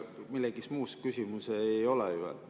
Milleski muus küsimus ei ole.